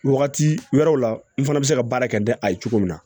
Wagati wɛrɛw la n fana bɛ se ka baara kɛ da ye cogo min na